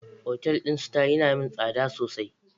Otal din star yana min tsada sosai.